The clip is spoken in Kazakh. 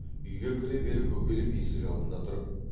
үйге кіре бере бөгеліп есік алдында тұрып